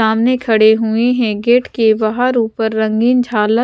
. सामने खड़े हुए हैं गेट के बाहर ऊपर रंगीन झालर--